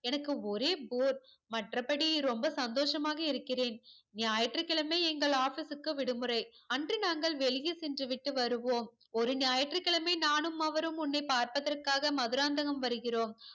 எனக்கு ஒரே bore மற்றபடி ரொம்ப சந்தோசமாக இருக்கிறேன் ஞாயிற்றுக்கிழமை எங்கள் office க்கு விடுமுறை அன்று நாங்கள் வெளியே சென்றுவிட்டு வருவோம் ஒரு ஞாயிற்றுக்கிழமை நானும் அவரும் உன்னை பார்ப்பதற்காக மதுராந்தகம் வருகிறோம்